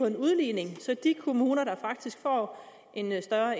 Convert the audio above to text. en udligning så de kommuner der faktisk får en større